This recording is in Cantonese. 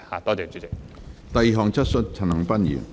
第二項質詢。